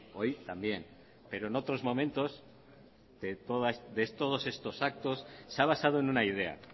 hoy también pero en otros momentos de todos estos actos se ha basado en una idea